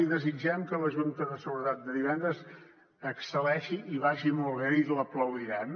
i desitgem que la junta de seguretat de divendres excel·leixi i vagi molt bé i l’aplaudirem